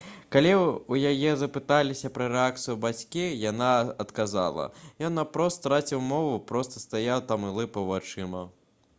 калі ў яе запыталіся пра рэакцыю бацькі яна адказала: «ён наўпрост страціў мову проста стаяў там і лыпаў вачыма»